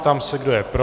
Ptám se, kdo je pro.